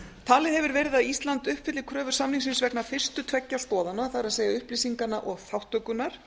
talið hefur verið að ísland uppfylli kröfur samningsins vegna fyrstu tveggja stoðanna það er upplýsinganna og þátttökunnar